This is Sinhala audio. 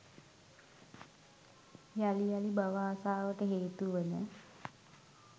යළි යළි භව ආශාවට හේතුවන